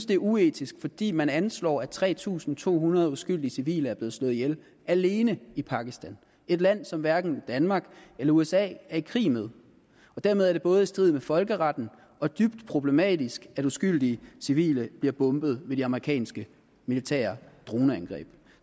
det er uetisk fordi man anslår at tre tusind to hundrede uskyldige civile er blevet slået ihjel alene i pakistan et land som hverken danmark eller usa er i krig med dermed er det både i strid med folkeretten og dybt problematisk at uskyldige civile bliver bombet ved de amerikanske militære droneangreb